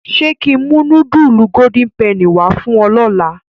Ṣé kí n mú nudulu Golden Penny wá fún ọ lọ́la?